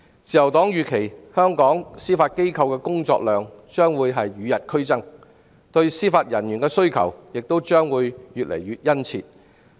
自由黨預期香港司法機構的工作量將與日俱增，對司法人員的需求亦將會越來越殷切。